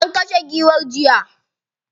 An kashe giwar jiya.